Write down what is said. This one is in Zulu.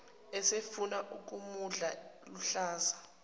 esefuna ukumudla luhlaza